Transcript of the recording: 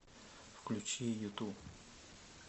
включи юту